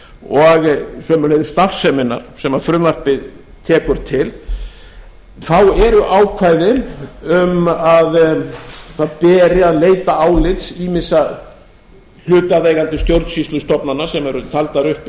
og sömuleiðis starfseminnar sem frumvarpið tekur til þá eru ákvæðin um að það beri að leita álits ýmissa hlutaðeigandi stjórnsýslustofnana sem eru taldar upp í